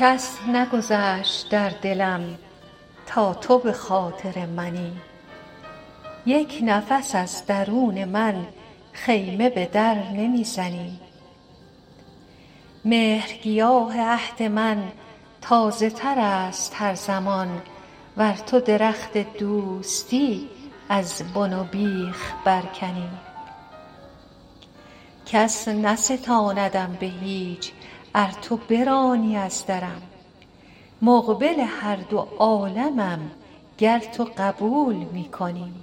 کس نگذشت در دلم تا تو به خاطر منی یک نفس از درون من خیمه به در نمی زنی مهرگیاه عهد من تازه تر است هر زمان ور تو درخت دوستی از بن و بیخ برکنی کس نستاندم به هیچ ار تو برانی از درم مقبل هر دو عالمم گر تو قبول می کنی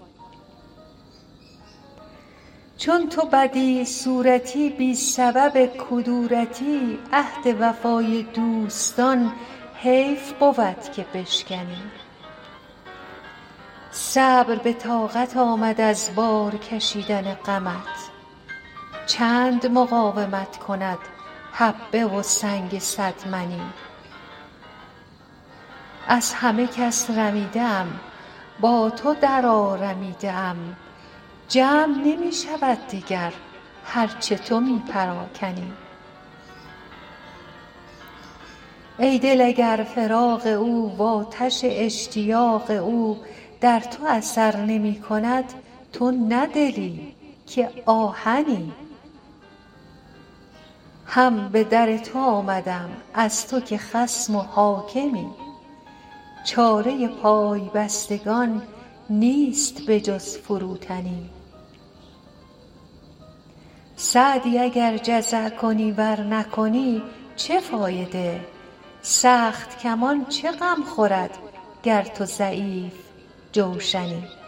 چون تو بدیع صورتی بی سبب کدورتی عهد وفای دوستان حیف بود که بشکنی صبر به طاقت آمد از بار کشیدن غمت چند مقاومت کند حبه و سنگ صد منی از همه کس رمیده ام با تو درآرمیده ام جمع نمی شود دگر هر چه تو می پراکنی ای دل اگر فراق او وآتش اشتیاق او در تو اثر نمی کند تو نه دلی که آهنی هم به در تو آمدم از تو که خصم و حاکمی چاره پای بستگان نیست به جز فروتنی سعدی اگر جزع کنی ور نکنی چه فایده سخت کمان چه غم خورد گر تو ضعیف جوشنی